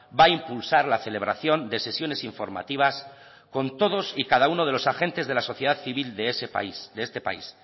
va impulsar la celebración de sesiones informativas con todos y cada uno de los agentes de la sociedad civil de este país